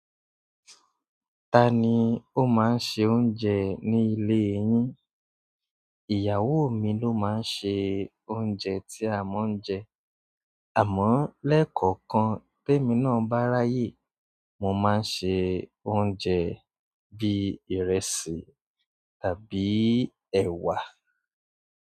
Ta ni ó máa ń ṣe oúnjẹ ní ilé yín? Ìyàwó mi ló máa ń ṣe oúnjẹ tí a máa ń jẹ. Àmọ́, lẹ́kọ̀ọ̀kan temí náà bá ráyè, mo máa ń ṣe oúnjẹ bí i ìrẹsì tàbí ẹ̀wà.